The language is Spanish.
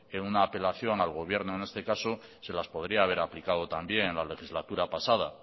una apelación al gobierno en este caso se las podría haber aplicado también en la legislatura pasada